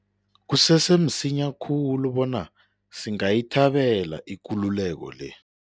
Kusese msinya khulu bona singayithabela ikululeko le.